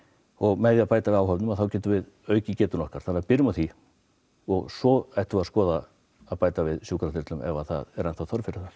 með því að bæta við áhöfn getum við aukið getuna okkar þannig byrjum á því svo ættum við að skoða að bæta við sjúkraþyrlum ef það er enn þörf fyrir þær